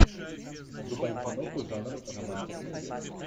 врубай киноху жанр романтик муви